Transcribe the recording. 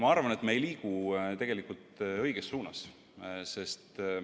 Ma arvan, et me tegelikult ei liigu õiges suunas.